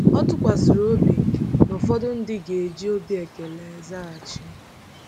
O tụkwasịrị obi na ụfọdụ ndị ga-eji obi ekele zaghachi.